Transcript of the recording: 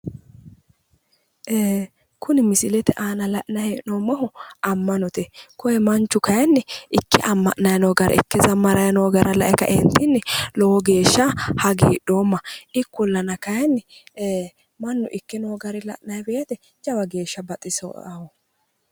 Ee kuni misilete aana la'nanni hee'noommoti ama'note koye manchu kayinni ikke amanano woyi faarsirano gara lae kaeentini lowo geeshsha hagiidhoomma ikkonna kayinni mannu ikke noo gari lowo geeshsha baxisawo